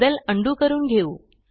बदल उंडो करून घेऊ